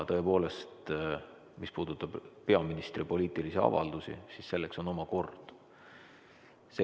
Tõepoolest, mis puudutab peaministri poliitilisi avaldusi, siis selleks on oma kord.